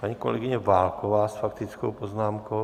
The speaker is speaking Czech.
Paní kolegyně Válková s faktickou poznámkou.